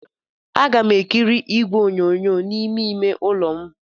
Aga m ekiri igwe onyonyo n'ime ime ụlọ m.